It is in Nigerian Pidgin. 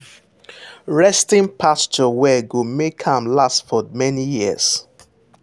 resting pasture well go make am last for many years.